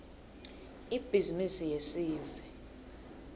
ibhizimisi yesive